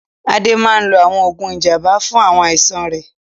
Ade máa ń lo àwọn oògùn ìjàmbá fún àìsàn rẹ̀.